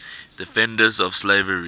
defenders of slavery